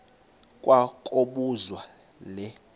kwa kobuzwa le